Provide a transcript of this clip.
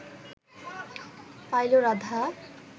pile Radha